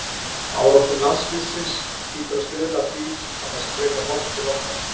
Árangur landsliðsins hlýtur að stuðla að því að það sé frekar horft til okkar.